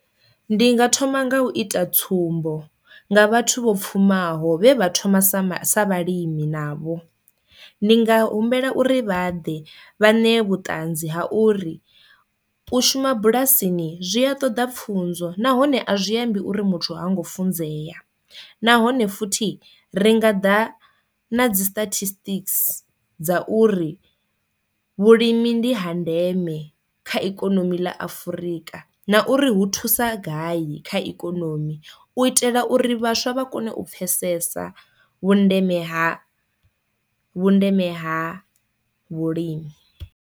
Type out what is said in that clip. Ndi nga thoma nga u ita tsumbo nga vhathu vho pfhumaho vhe vha thoma sa vhalimi navho, ndi nga humbela uri vha ḓe vha ṋee vhuṱanzi ha uri u shuma bulasini zwi a ṱoḓa pfunzo nahone a zwi ambi uri muthu ha ngo funzea, nahone futhi ri nga ḓa na dzi statistics dza uri vhulimi ndi ha ndeme kha ikonomi ḽa Afrika na uri hu thusa gai kha ikonomi u itela uri vhaswa vha kone u pfesesa vhundeme ha vhundeme ha vhulimi.